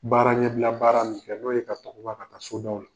Baara ɲɛ bila baara min kɛ n'o ye ka tagama ka taa sodaw la.